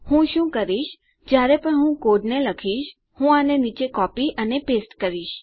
હું શું કરીશ જયારે પણ હું કોડને લખીશ હું આને નીચે કોપી અને પેસ્ટ કરીશ